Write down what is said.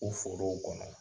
O forow kɔnɔ.